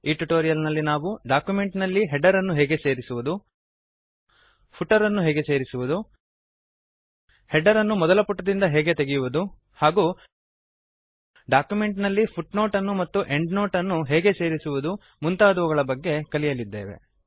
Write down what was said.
ಈ ಟ್ಯುಟೋರಿಯಲ್ ನಲ್ಲಿ ನಾವು ಡಾಕ್ಯುಮೆಂಟ್ ನಲ್ಲಿ ಹೆಡರ್ ಅನ್ನು ಹೇಗೆ ಸೇರಿಸುವುದು ಫೂಟರ್ ಅನ್ನು ಹೇಗೆ ಸೇರಿಸುವುದು ಹೆಡರ್ ಅನ್ನು ಮೊದಲ ಪುಟದಿಂದ ಹೇಗೆ ತೆಗೆಯುವುದು ಹಾಗೂ ಡಾಕ್ಯುಮೆಂಟ್ ನಲ್ಲಿ ಫುಟ್ನೋಟ್ ಅನ್ನು ಮತ್ತು ಎಂಡ್ನೋಟ್ ಅನ್ನು ಹೇಗೆ ಸೇರಿಸುವುದು ಇತ್ಯಾದಿಗಳ ಬಗ್ಗೆ ಕಲಿಯಲಿದ್ದೇವೆ